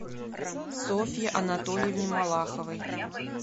софье анатольевне малаховой